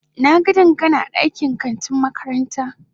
Na ga Dangana a kantin makaranta.